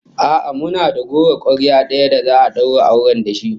A'a, muna da goro kwarya daya da za'a daura auren da shi